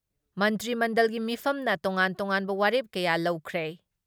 ꯃꯟꯇ꯭ꯔꯤ ꯃꯟꯗꯜꯒꯤ ꯃꯤꯐꯝꯅ ꯇꯣꯉꯥꯟ ꯇꯣꯉꯥꯟꯕ ꯋꯥꯔꯦꯞ ꯀꯌꯥ ꯂꯧꯈ꯭ꯔꯦ ꯫